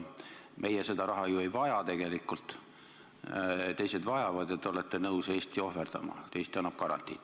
Meie seda raha ju tegelikult ei vaja, teised vajavad, ja te olete nõus Eesti ohverdama, Eesti annab garantii.